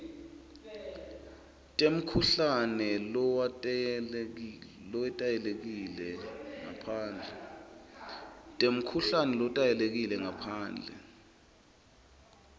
temkhuhlane lowetayelekile ngaphandle